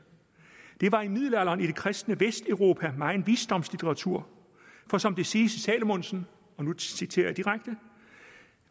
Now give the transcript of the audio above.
der var i middelalderen i det kristne vesteuropa meget visdomsliteratur for som det siges i salmonsen og nu citerer jeg direkte